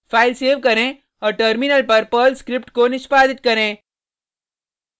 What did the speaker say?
file save करें औऱ terminal पर पर्ल स्क्रिप्ट को निष्पादित करें